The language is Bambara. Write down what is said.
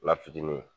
La fitinin